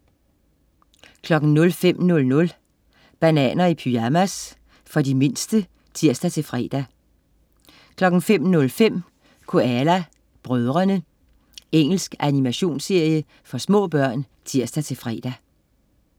05.00 Bananer i pyjamas. For de mindste (tirs-fre) 05.05 Koala brødrene. Engelsk animationsserie for små børn (tirs-fre)